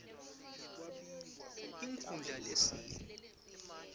inkhundla lehie ifnb